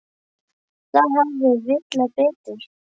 Þar hafði Villa betur.